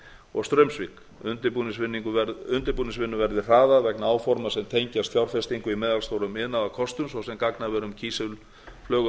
og straumsvík undirbúningsvinnu verði hraðað vegna áforma sem tengjast fjárfestingu í meðalstórum iðnaðarkostum svo sem gagnaverum og